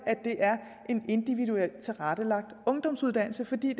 er en individuelt tilrettelagt ungdomsuddannelse fordi